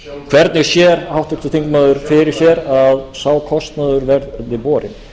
hvernig sér háttvirtur þingmaður fyrir sér að sá kostnaður verði borinn